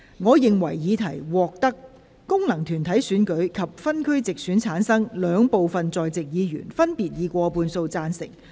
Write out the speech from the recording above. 我認為議題獲得經由功能團體選舉產生及分區直接選舉產生的兩部分在席議員，分別以過半數贊成。